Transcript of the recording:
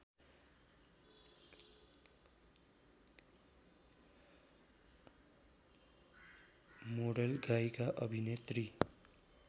model गायिका अभिनेत्री